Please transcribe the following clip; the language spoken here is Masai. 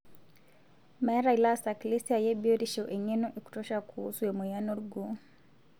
Meeta ilaasak lesiai ebiotisho eng'eno ekutosha kuusu emoyian olgoo